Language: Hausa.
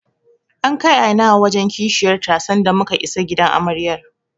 An kai Aina'u wajen Kishiyar ta sanda muka isa gidan Amaryar.